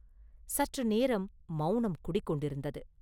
சற்று நேரம் மௌனம் குடிகொண்டிருந்தது.